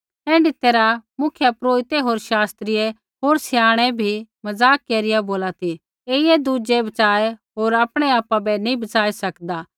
ऐण्ढी तैरहै मुख्यपुरोहिता होर शास्त्रियै होर स्याणै भी मज़ाक केरिया बोला ती ऐईयै होरा ता बच़ाऐ पर ऐ आपु बै नी बच़ाई सकदा